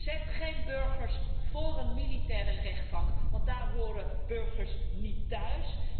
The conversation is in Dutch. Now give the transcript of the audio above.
Laat geen burgers voor een militaire rechtbank verschijnen, want daar horen burgers niet thuis.